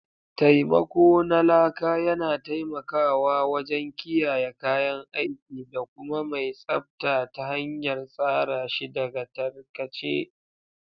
Taimako na Laka yana taimakawa wajen kiyaye kayan aiki da kuma mai tsabta ta hanyar tsara shi daga tarkace.